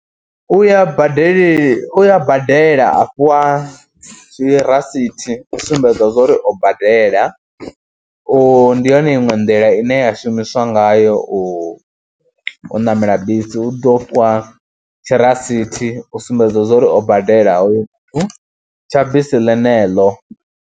U ya badeli, u ya badela a fhiwa zwirasithi u sumbedza zwo ri o badela, u ndi yone iṅwe nḓila ine ya shumamiswa ngayo u ṋamela bisi, u ḓo fhiwa tshirasithi u sumbedza zwa uri o badela hoyu tsha bisi ḽeneḽo.